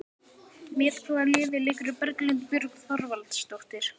Með hvaða liði leikur Berglind Björg Þorvaldsdóttir?